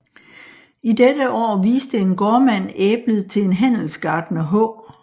I dette år viste en gårdmand æblet til en handelsgartner H